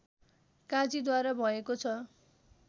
काजीद्वारा भएको छ